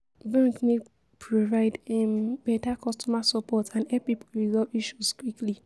Bank need provide um beta customer support and help people resolve issues quickly.